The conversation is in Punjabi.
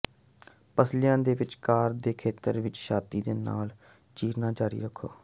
ਪੱਸਲੀਆਂ ਦੇ ਵਿਚਕਾਰ ਦੇ ਖੇਤਰ ਵਿੱਚ ਛਾਤੀ ਦੇ ਨਾਲ ਚੀਰਣਾ ਜਾਰੀ ਰੱਖੋ